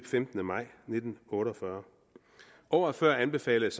femtende maj nitten otte og fyrre året før anbefalede